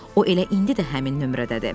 O elə indi də həmin nömrədədir.